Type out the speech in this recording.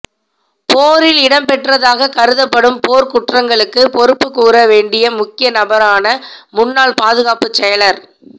போரில் இடம்பெற்றதாக கருதப்படும் போர் குற்றங்களுக்கு பொறுப்புக் கூற வேண்டிய முக்கிய நபரான முன்னாள் பாதுகாப்புச் செயலாளர்